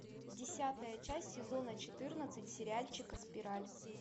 десятая часть сезона четырнадцать сериальчика спираль